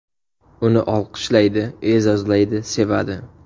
Uni olqishlaydi, e’zozlaydi, sevadi.